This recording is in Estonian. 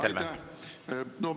Aitäh!